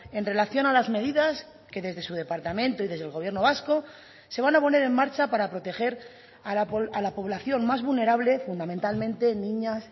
en relación a las medidas que desde su departamento y desde el gobierno vasco se van a poner en marcha para proteger a la población más vulnerable fundamentalmente en niñas